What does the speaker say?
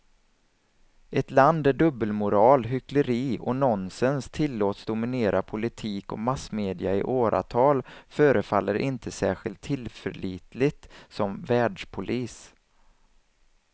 Ett land där dubbelmoral, hyckleri och nonsens tillåts dominera politik och massmedia i åratal förefaller inte särskilt tillförlitligt som världspolis.